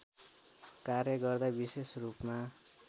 कार्य गर्दा विशेषरूपमा